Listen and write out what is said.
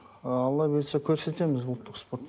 алла бұйыртса көрсетеміз ұлттық спорт